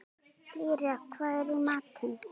Lýra, hvað er í matinn?